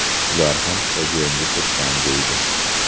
Ular ham stadionga kirsam deydi.